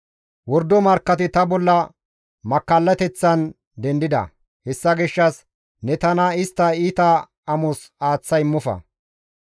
Wordo markkati ta bolla makkallateththan dendida; hessa gishshas ne tana istta iita amos aaththa immofa.